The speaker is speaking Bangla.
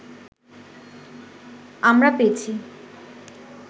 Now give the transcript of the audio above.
আমরা পেয়েছি